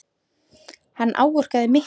Hann áorkaði miklu.